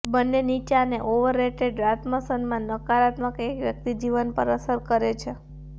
બંને નીચા અને ઓવરરેટેડ આત્મસન્માન નકારાત્મક એક વ્યક્તિ જીવન પર અસર કરે છે